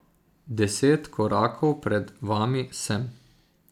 Deset korakov pred vami sem.